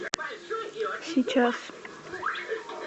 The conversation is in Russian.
сейчас